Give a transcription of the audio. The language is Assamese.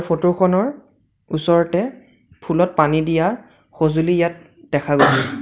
ফটো খনৰ ওচৰতে ফুলত পানী দিয়া সজুঁলি ইয়াত দেখা গৈছে।